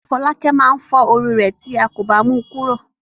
Fọ́lákẹ́ máa fọ́ orí rẹ̀ tí a kò bá mu kúrò.